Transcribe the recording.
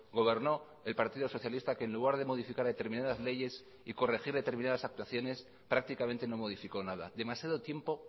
gobernó el partido socialista que en lugar de modificar determinadas leyes y corregir determinadas actuaciones prácticamente no modificó nada demasiado tiempo